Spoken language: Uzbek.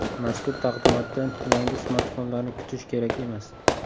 Mazkur taqdimotdan yangi smartfonlarni kutish kerak emas.